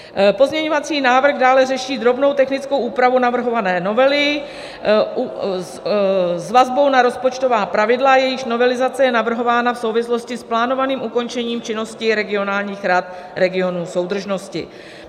Pozměňovací návrh dále řeší drobnou technickou úpravu navrhované novely s vazbou na rozpočtová pravidla, jejichž novelizace je navrhována v souvislosti s plánovaným ukončením činnosti regionálních rad regionů soudržnosti.